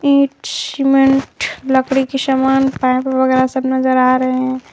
ईट cement लकड़ी के समान पाइप वगैरह सब नजर आ रहे हैं।